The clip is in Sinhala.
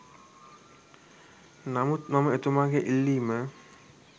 නමුත් මම එතුමාගේ ඉල්ලීම